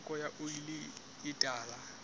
theko ya oli e tala